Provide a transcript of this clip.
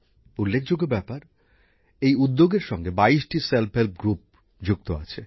উল্লেখযোগ্য ব্যাপার এই উদ্যোগের সঙ্গে ২২টা স্বনির্ভর গোষ্ঠী যুক্ত আছে